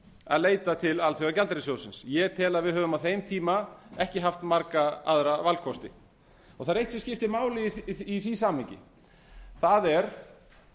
að leita til alþjóðagjaldeyrissjóðsins ég tel að við höfum á þeim tíma ekki haft marga aðra valkosti það er eitt sem skiptir máli í því samhengi það er